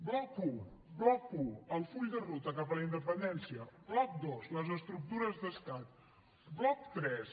bloc un bloc un el full de ruta cap a la independència bloc dos les estructures d’estat bloc tres